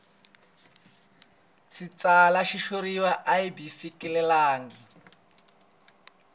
tsala xitshuriwa a byi fikelelangi